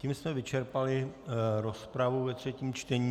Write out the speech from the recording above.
Tím jsme vyčerpali rozpravu ve třetím čtení.